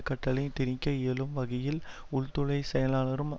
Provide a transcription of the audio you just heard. கட்டளையை திணிக்க இயலும் வகையில் உள்துறை செயலாளருக்கு